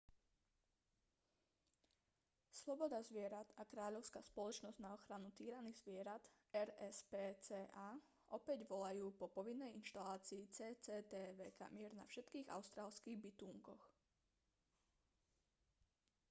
sloboda zvierat a kráľovská spoločnosť na ochranu týraných zvierat rspca opäť volajú po povinnej inštalácii cctv kamier na všetkých austrálskych bitúnkoch